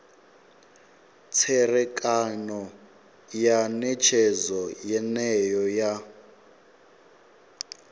tserekano ya netshedzo yeneyo ya